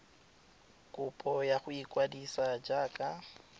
kopo ya go ikwadisa jaaka